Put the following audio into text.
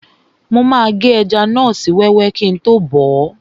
Mo máa gé ẹja náà sí wẹ́wẹ́ kíi tó bọ̀ọ́